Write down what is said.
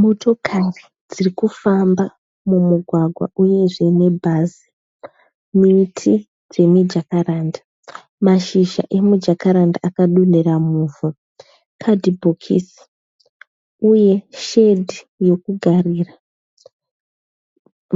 Motokari dziri kufamba mumugwagwa uyezve nebhazi. Miti dzemijakaranda. Mashizha emujakaranda akadonhera muvhu. Kadhibhokisi uye shedi yokugarira.